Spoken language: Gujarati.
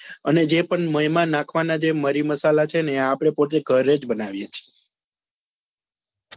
અને જે પણ એમાં નાખવા નાં મારી મસાલા છે ને આપડે પોતે ઘરે જ બનાવીએ છીએ.